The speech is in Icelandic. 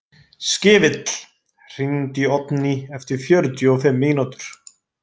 Skefill, hringdu í Oddný eftir fjörutíu og fimm mínútur.